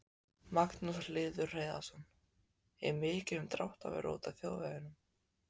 Magnús Hlynur Hreiðarsson: Er mikið um dráttarvélar úti á þjóðvegunum?